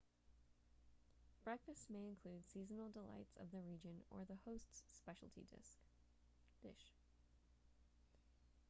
breakfast may include seasonal delights of the region or the host's speciality dish